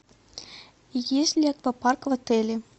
есть ли аквапарк в отеле